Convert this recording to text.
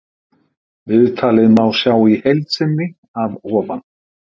Viðtalið má sjá í heild sinni að ofan.